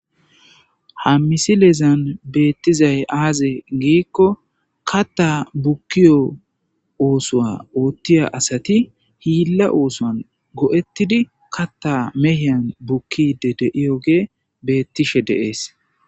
Ha misilezan bezizay aze giko kata bukiyo osuwa otiya asati hila osuwan goe'etidi kata mehan bukishe diyo gay betese